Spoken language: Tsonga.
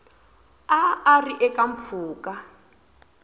a a ri eka mpfhuka